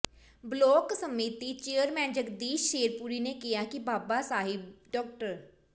block ਸੰਮਤੀ chairman Jagdish Sherpuri ਨੇ ਕਿਹਾ ਕਿ ਬਾਬਾ ਸਾਹਿਬ ਡਾ